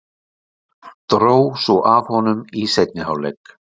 Dró svo af honum í seinni hálfleik.